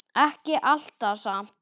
Ekki alltaf samt.